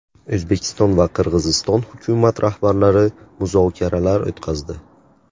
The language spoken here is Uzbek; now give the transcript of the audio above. O‘zbekiston va Qirg‘iziston hukumat rahbarlari muzokaralar o‘tkazdi.